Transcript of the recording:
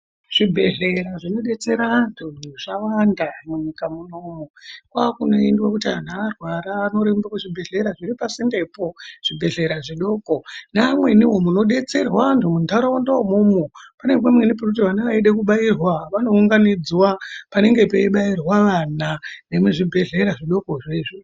Zvibhehlera zvinodetsera antu zvawanda munyika munomu kwakunoendwa kuti anhu arwara onorumba kuzvibhehlera zviri pasindepo zvibhedhlera zvidoko neamweniwo munodetserwa antu muntaraunda umomo pane kumweni pekuti vana vachida kubairwa panounganidzwa ana nemuzvibhedhlera izvozvo.